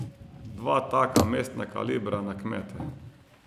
Dva taka mestna kalibra na kmete?